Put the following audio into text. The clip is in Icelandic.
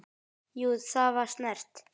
Jú, það var snert